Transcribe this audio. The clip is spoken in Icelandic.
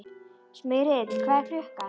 Smyrill, hvað er klukkan?